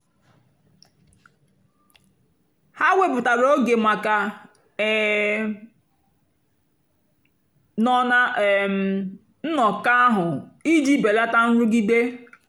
ha wèpụ̀tàra ógè maka ị̀ um nọ́ na um nnọ́kọ́ ahụ́ ijì bèlátà nrụ́gìdè.